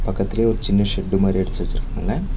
பக்கத்துலே ஒரு சின்ன ஷெட்டு மாரி அடிச்சி வெச்சிருக்காங்க.